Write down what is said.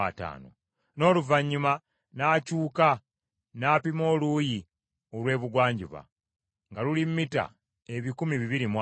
N’oluvannyuma n’akyuka n’apima oluuyi olw’ebugwanjuba, nga luli mita ebikumi bibiri mu ataano.